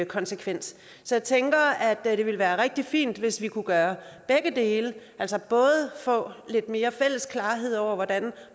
konsekvens så jeg tænker at det ville være rigtig fint hvis vi kunne gøre begge dele altså både få lidt mere fælles klarhed over hvordan